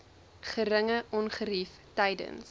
geringe ongerief tydens